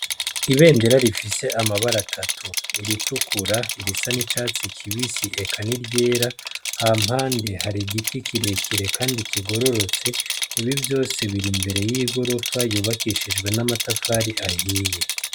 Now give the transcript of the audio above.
Ibendera rifise amabara atatu iritukura, irisa n'icatsi kibisi eka n'iryera hampande yaho har'igiti kirekire kandi kigororotse. Ibivyose bir'imbere y'igorofa yubakishijwe amatafari ahiye.